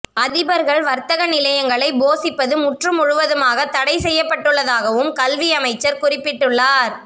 அதிபர்கள் வர்த்தக நிலையங்களை போசிப்பது முற்றுமுழுதாக தடைசெய்யப்பட்டுள்ளதாகவும் கல்வி அமைச்சர் குறிப்பிட்டுள்ளார்